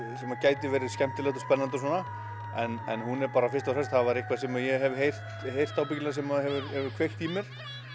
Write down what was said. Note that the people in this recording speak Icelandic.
sem gæti verið skemmtilegt og spennandi og svona en hún er bara fyrst og fremst það eitthvað sem ég hef heyrt heyrt sem hefur kveikt í mér